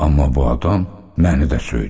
Amma bu adam məni də söydü.